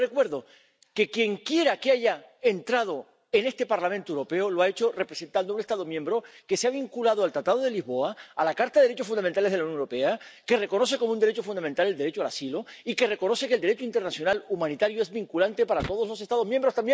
Pero le recuerdo que quien quiera que haya entrado en este Parlamento Europeo lo ha hecho representando a un Estado miembro que se ha vinculado al Tratado de Lisboa, a la Carta de los Derechos Fundamentales de la Unión Europea, que reconoce como un derecho fundamental el derecho de asilo y que reconoce que el Derecho internacional humanitario es vinculante para todos los Estados miembros.